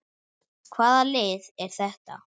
Hvaða lið er þetta?